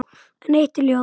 En eitt er ljóst.